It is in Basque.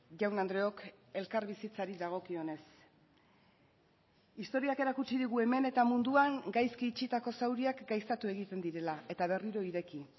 jaun andreok elkarbizitzari dagokionez historiak erakutsi digu hemen eta munduan gaizki itxitako zauriak gaiztatu egiten direla eta berriro ireki